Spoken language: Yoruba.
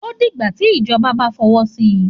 Òdígbá tí ìjọbá bà fọwọ sí.